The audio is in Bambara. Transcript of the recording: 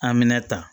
Amina ta